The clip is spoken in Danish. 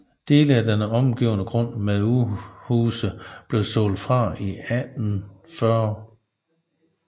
Dele af den omgivende grund med udhuse blev solgt fra i 1840